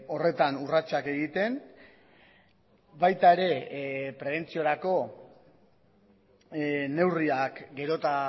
horretan urratsak egiten baita ere prebentziorako neurriak gero eta